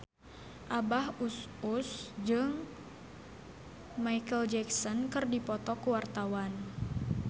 Abah Us Us jeung Micheal Jackson keur dipoto ku wartawan